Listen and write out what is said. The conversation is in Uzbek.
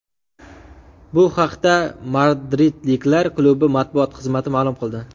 Bu haqda madridliklar klubi matbuot xizmati ma’lum qildi .